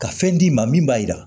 Ka fɛn d'i ma min b'a jira